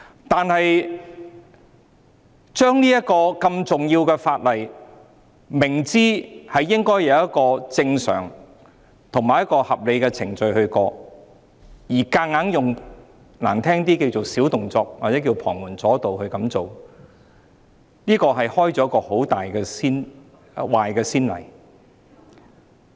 但是，如果明知這項如此重要的法例應該按正常及合理的程序通過，卻強行——說得難聽一點——使用"小動作"或"旁門左道"來處理，這會開立一個很壞的先例。